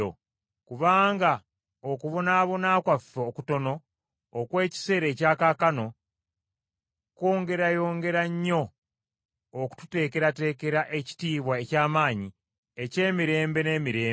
Kubanga okubonaabona kwaffe okutono okw’ekiseera ekya kaakano, kwongerayongera nnyo okututeekerateekera ekitiibwa eky’amaanyi eky’emirembe n’emirembe.